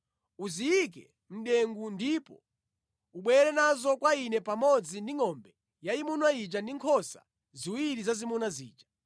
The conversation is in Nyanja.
Uziyike mʼdengu ndipo ubwere nazo kwa Ine pamodzi ndi ngʼombe yayimuna ija ndi nkhosa ziwiri zazimuna zija.